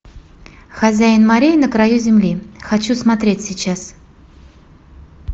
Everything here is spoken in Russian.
хозяин морей на краю земли хочу смотреть сейчас